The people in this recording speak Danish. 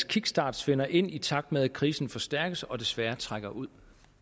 kickstart svinder ind i takt med at krisen forstærkes og desværre trækker ud